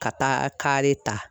Ka taa kare ta.